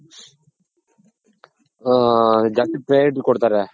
ಆ ಜಾಸ್ತಿ ಹಾ priority ಕೊಡ್ತಾರೆ.